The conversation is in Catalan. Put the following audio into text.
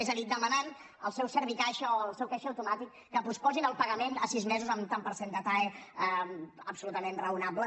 és a dir demanant al seu servicaixa o al seu caixer automàtic que posposin el pagament a sis mesos amb un tant per cent de tae absolutament raonable